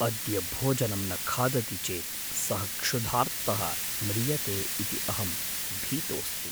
अद्य भोजनं न खादति चेत् सः क्षुधार्तः म्रियते इति अहं भीतोस्ति।